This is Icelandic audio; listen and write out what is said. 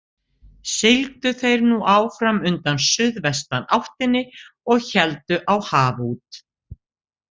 Sigldu þeir nú áfram undan suðvestanáttinni og héldu á haf út.